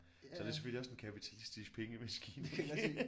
Så er det selvfølgelig også en kapitalistisk pengemaskine